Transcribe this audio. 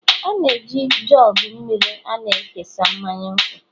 Ana m eji jugu mmiri a na-ekesa mmanya nkwụ